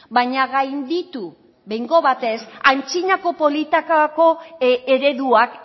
baina gainditu behingo batez antzinako politikako ereduak